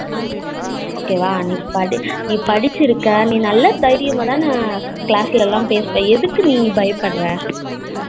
Okay வா நீ படிக்கிருக்க நீ நல்லா தைரியமாதான class எல்லாம் பேசுவா எதுக்கு நீ பயப்படுற